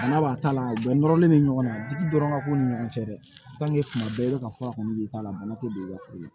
Bana b'a ta la bɛɛ nɔrɔlen bɛ ɲɔgɔn na digi dɔrɔn ka k'u ni ɲɔgɔn cɛ dɛ tuma bɛɛ i bɛ ka fura kɔni ji k'a la bana tɛ don i ka foro la